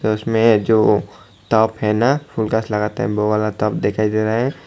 और उसमें जो ताप है ना वो वाला ताप दिखाई दे रहा है।